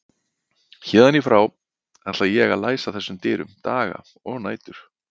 Héðan í frá ætlaði ég að læsa þessum dyrum, daga og nætur.